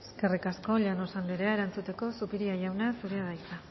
eskerrik asko llanos anderea erantzuteko zupiria jauna zurea da hitza